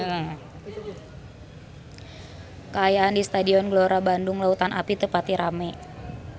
Kaayaan di Stadion Gelora Bandung Lautan Api teu pati rame